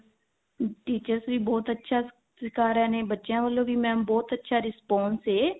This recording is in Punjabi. teachers ਵੀ ਬਹੁਤ ਅੱਛਾ ਸਿਖਾ ਰਹੇ ਨੇ ਬੱਚਿਆਂ ਵੱਲੋਂ ਵੀ mam ਬਹੁਤ ਅੱਛਾ response ਹੈ